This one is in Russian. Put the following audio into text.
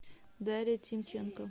дарья тимченко